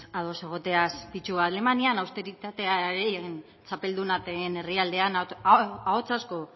ados egoteaz begira alemanian austeritatearen txapelduna den herrialdean ahots asko